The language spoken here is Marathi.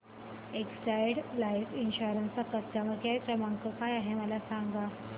एक्साइड लाइफ इन्शुरंस चा कस्टमर केअर क्रमांक काय आहे मला सांगा